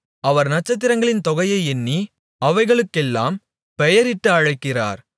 அவர் நட்சத்திரங்களின் தொகையை எண்ணி அவைகளுக்கெல்லாம் பெயரிட்டு அழைக்கிறார்